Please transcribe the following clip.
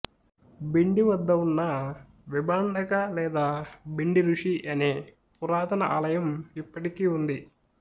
భిండి వద్ద ఉన్న విభాండక లేదా భిండి ఋషి అనే పురాతన ఆలయం ఇప్పటికీ ఉంది